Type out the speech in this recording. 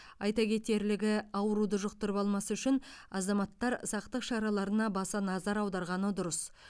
айта кетерлігі ауруды жұқтырып алмас үшін азаматтар сақтық шараларына баса назар аударғаны дұрыс